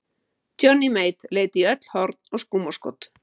Johnny Mate leit í öll horn og skúmaskot.